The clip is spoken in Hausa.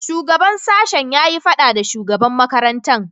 Shugaban sashen ya yi fada da shugaban makarantan.